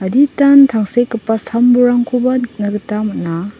aditan tangsekgipa sambolrangkoba nikna gita man·a.